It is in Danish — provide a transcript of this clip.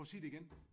Prøv at sige det igen